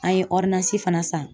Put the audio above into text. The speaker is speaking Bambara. An ye fana san